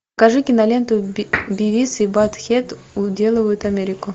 покажи киноленту бивис и баттхед уделывают америку